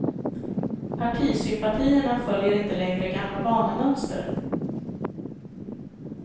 Partisympatierna följer inte längre gamla vanemönster.